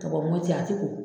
Tubabu a tɛ ye o.